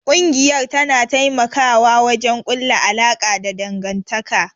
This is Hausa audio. Kungiyar tana taimawa wajen kulla alaka da dangantaka.